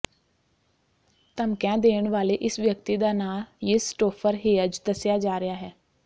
ਧਮਕੀਆਂ ਦੇਣ ਵਾਲੇ ਇਸ ਵਿਅਕਤੀ ਦਾ ਨਾਂ ਿਯਸਟੋਫਰ ਹੇਅਜ ਦੱਸਿਆ ਜਾ ਰਿਹਾ ਹੈ